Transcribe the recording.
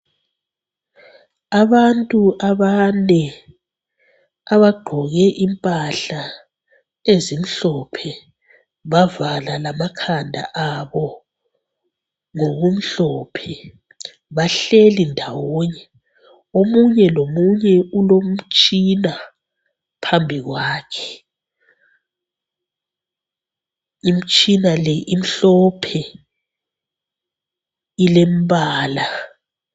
Abantu abane. Abagqoke impahla ezimhlophe, bavala lamakhanda abo ngokumhlophe, bahleli ndawonye. Omunye lomunye ulomtshina phambi kwakhe. Imtshina le imhlophe, ilembala.